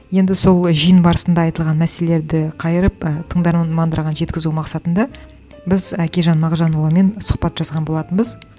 енді сол жиын барысында айтылған мәселелерді қайырып і тыңдармандарға жеткізу мақсатында біз әкежан мағжанұлымен сұхбат жазған болатынбыз